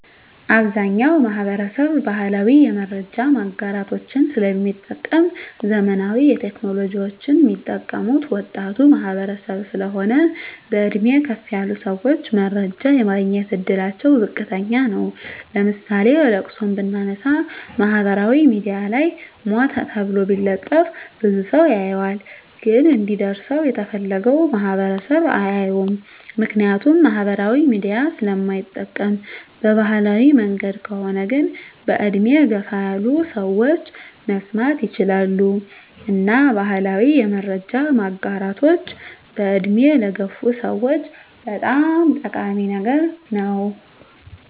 አብዛኛዉ ማህበረሰብ ባህላዊ የመረጃ ማጋራቶችን ስለሚጠቀም ዘመናዊ ቴክኖሎጂወችን ሚጠቀሙት ወጣቱ ማህበረሰብ ስለሆን በእድሜ ከፍ ያሉ ሰወች መረጃ የማግኘት እድላቸዉ ዝቅተኛ ነዉ ለምሳሌ ለቅሶን ብናነሳ ማህበራዊ ሚድያ ላይ ሞተ ተብሎ ቢለጠፍ ብዙ ሰዉ ያየዋል ግን እንዲደርሰዉ የተፈለገዉ ማህበረሰብ አያየዉም ምክንያቱም ማህበራዊ ሚዲያ ስለማይጠቀም በባህላዊ መንገድ ከሆነ ግን በእድሜ ገፋ ያሉ ሰወች መስማት ይችላሉ እና ባህላዊ የመረጃ ማጋራቶች በእድሜ ለገፉ ሰወች በጣም ጠቃሚ ነገር ነዉ